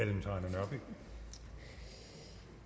nej